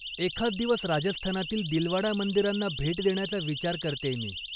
एखाद दिवस राजस्थानातील दिलवाडा मंदिरांना भेट देण्याचा विचार करतेय मी.